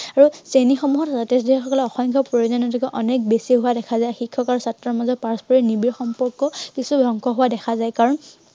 আৰু শ্ৰেণীসমূহত সিহঁতে যি সকলে অসমীয়া ভাষা প্ৰয়োজনীয়তা অনেক বেছি হোৱা দেখা যায়। শিক্ষক আৰু ছাত্ৰৰ মাজত পাৰস্পৰিক নীবিড় সম্পৰ্ক কিছু ধ্বংস হোৱা দেখা যায়, কাৰন